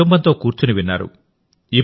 మీరు కుటుంబంతో కూర్చొని విన్నారు